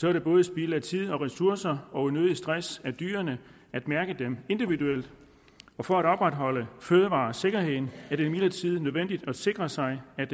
er det både spild af tid og ressourcer og unødig stress af dyrene at mærke dem individuelt for at opretholde fødevaresikkerheden er det imidlertid nødvendigt at sikre sig at